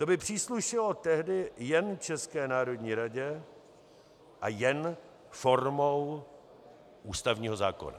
To by příslušelo tehdy jen České národní radě a jen formou ústavního zákona.